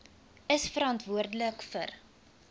is verantwoordelik vir